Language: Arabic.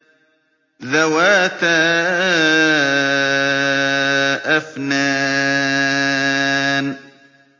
ذَوَاتَا أَفْنَانٍ